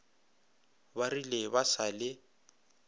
ba rile ba sa le